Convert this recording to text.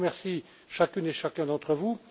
Donc, je remercie chacune et chacun d'entre vous.